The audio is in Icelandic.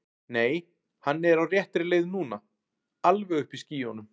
Nei, hann er á réttri leið núna. alveg uppi í skýjunum.